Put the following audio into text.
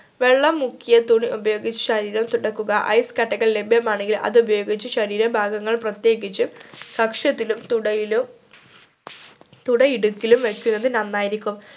വെള്ളം മുക്കിയ തുണി ഉപയോഗിച്ചു ശരീരം തുടക്കുക ice കട്ടകൾ ലഭ്യമാണെങ്കിൽ അത് ഉപയോഗിച്ചു ശരീര ഭാഗങ്ങൾ പ്രത്യേകിച് കക്ഷത്തിലും തുടയിലും തുടയിടുക്കിലും വെക്കുന്നത് നന്നായിരിക്കും